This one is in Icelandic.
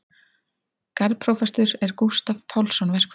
Garðprófastur er Gústav Pálsson verkfræðingur.